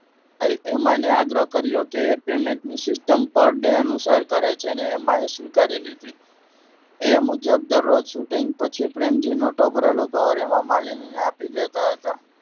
તેમણે હેમાને આગ્રહ કર્યો કે payment ની system પર ડે અનુસાર કરે જેને એમાય સ્વીકારી લીધ એ મુજબ દરરોજ shooting પછી પ્રેમજી નોટો ભરેલું કવર હેમામાલીની ને આપી દેતા હતા.